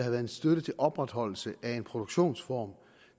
en støtte til opretholdelse af en produktionsform